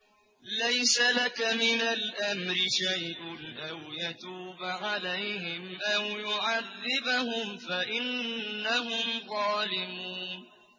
لَيْسَ لَكَ مِنَ الْأَمْرِ شَيْءٌ أَوْ يَتُوبَ عَلَيْهِمْ أَوْ يُعَذِّبَهُمْ فَإِنَّهُمْ ظَالِمُونَ